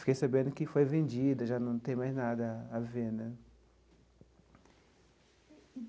Fiquei sabendo que foi vendida, já não tem mais nada a ver né.